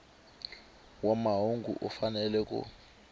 wa mahungu u fanele ku